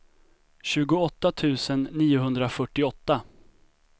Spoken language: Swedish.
tjugoåtta tusen niohundrafyrtioåtta